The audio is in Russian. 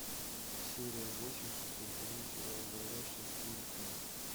серия восемь шестой сезон сериал говорящая с призраками